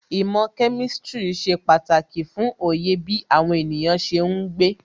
Īmò kemistri ṣe pàtàkì fún Oyè bí àwọn ènìyàn ṣe ń gbé.